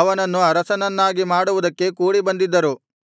ಅವನನ್ನು ಅರಸನನ್ನಾಗಿ ಮಾಡುವುದಕ್ಕೆ ಕೂಡಿಬಂದಿದ್ದರು